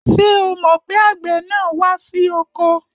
Ṣé o mọ̀ pé àgbẹ̀ náà wá sí oko?